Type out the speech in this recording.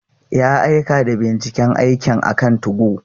Ya aika da binciken aikin akan 2go.